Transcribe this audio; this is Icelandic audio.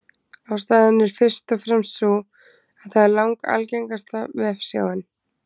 Ástæðan er fyrst og fremst sú að það er langalgengasta vefsjáin.